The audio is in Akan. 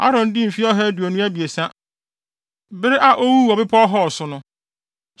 Aaron dii mfe ɔha aduonu abiɛsa, bere a owuu wɔ Bepɔw Hor so no.